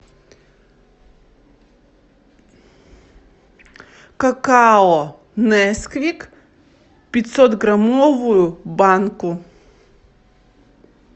какао несквик пятьсот граммовую банку